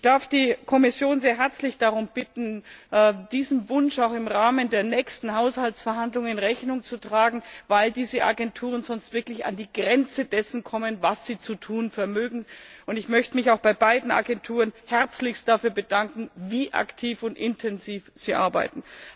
Ich darf die Kommission sehr herzlich darum bitten, diesem Wunsch auch im Rahmen der nächsten Haushaltsverhandlungen Rechnung zu tragen, weil diese Agenturen sonst wirklich an die Grenze dessen kommen, was sie zu tun vermögen. Ich möchte mich auch bei beiden Agenturen herzlichst dafür bedanken, wie aktiv und intensiv sie arbeiten.